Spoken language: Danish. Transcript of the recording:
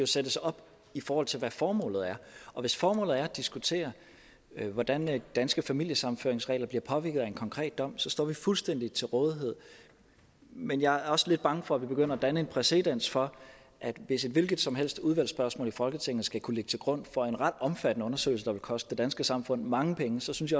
sættes op i forhold til hvad formålet er og hvis formålet er at diskutere hvordan danske familiesammenføringsregler bliver påvirket af en konkret dom så står vi fuldstændig til rådighed men jeg er også lidt bange for at vi begynder at danne en præcedens for hvis et hvilket som helst udvalgsspørgsmål i folketinget skal kunne ligge til grund for en ret omfattende undersøgelse der vil koste det danske samfund mange penge så synes